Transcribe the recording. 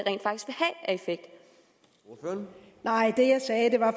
rent